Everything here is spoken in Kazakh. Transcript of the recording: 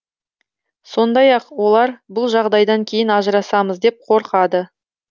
сондай ақ олар бұл жағдайдан кейін ажырасамыз деп қорқады